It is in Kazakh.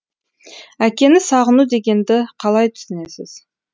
әкені сағыну дегенді қалай түсінесіз